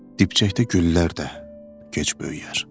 dibçəkdə güllər də gec böyüyər.